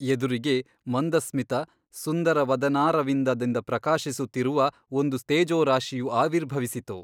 ಎದುರಿಗೆ ಮಂದಸ್ಮಿತ ಸುಂದರವದನಾರವಿಂದದಿಂದ ಪ್ರಕಾಶಿಸುತ್ತಿರುವ ಒಂದು ತೇಜೋರಾಶಿಯು ಆವಿರ್ಭವಿಸಿತು.